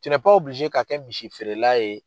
ka kɛ misi feerela ye.